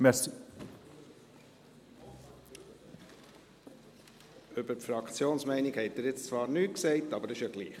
Über die Fraktionsmeinung haben Sie jetzt zwar nichts gesagt, aber das ist ja egal.